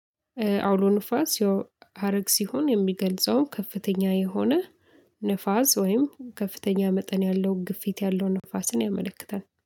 አውሎ ነፋስ ያው ሃረግ ሲሆን የሚገልጸው ከፍተኛ የሆነ ንፋስ ወይም ከፍተኛ መጠን ያለው ግፊት ያለው ነፋስን ያመለክታል።